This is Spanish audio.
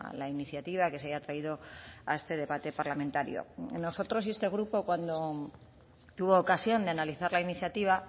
la iniciativa que se haya traído a este debate parlamentario nosotros y este grupo cuando tuvo ocasión de analizar la iniciativa